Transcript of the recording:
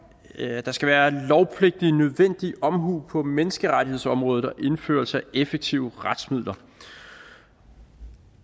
at der skal være lovpligtig nødvendig omhu på menneskerettighedsområdet og indføres effektive retsmidler